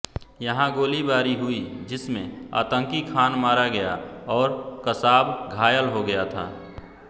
यहाँ गोलीबारी हुई जिसमें आतंकी खान मारा गया और कसाब घायल हो गया था